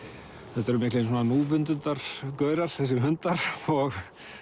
þetta eru miklir þessi hundar og